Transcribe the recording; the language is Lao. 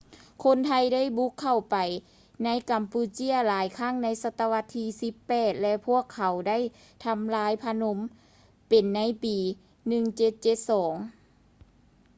ຄົນໄທໄດ້ບຸກເຂົ້າໄປໃນກຳປູເຈຍຫຼາຍຄັ້ງໃນສະຕະວັດທີ 18 ແລະ ພວກເຂົາໄດ້ທຳລາຍພະນົມເປັນໃນປີ 1772